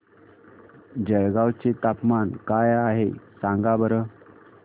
जळगाव चे तापमान काय आहे सांगा बरं